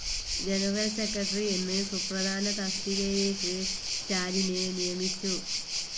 General secretary എന്ന് സുപ്രധാന തസ്തികയിലേക്ക്ക് സ്റ്റാലിനെ നിയമിച്ചു.